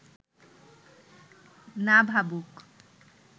না ভাবুক